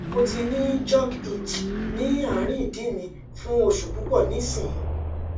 mo ti ni jock itch ni arin idi mi fun osu pupo nisin